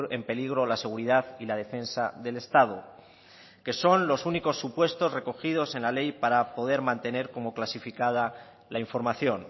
en peligro la seguridad y la defensa del estado que son los únicos supuestos recogidos en la ley para poder mantener como clasificada la información